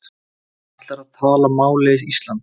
Ætlar að tala máli Íslands